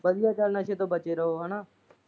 ਵਧੀਆ ਚੱਲ ਨਸੇ ਤੋਂ ਬਚੇ ਰਹੋ ਹਨਾਂ।